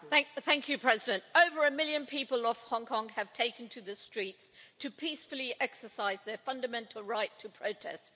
Madam President, over a million people in Hong Kong have taken to the streets to peacefully exercise their fundamental right to protest.